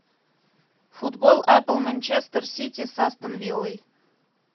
футбол апл манчестер сити с астон виллой